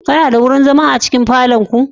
Kana da wurin zama a cikin falon ku?